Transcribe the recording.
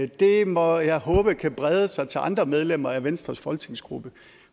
det må jeg håbe kan brede sig til andre medlemmer af venstres folketingsgruppe